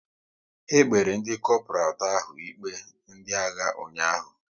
E kpere ndị Kopral atọ ahụ ikpe ndị agha ụnyaahụ